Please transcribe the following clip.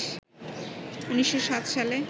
১৯০৭ সালে